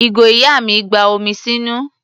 Ìgò ìyá mi gba omi sínú.